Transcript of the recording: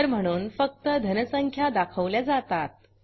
उत्तर म्हणून फक्त धन संख्या दाखवल्या जातात